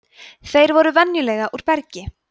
þeir eru venjulega úr bergi